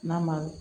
N'a ma